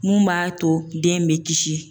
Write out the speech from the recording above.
Mun b'a to den bɛ kisi.